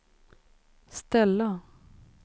ställa